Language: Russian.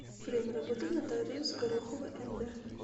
время работы нотариус горохова нд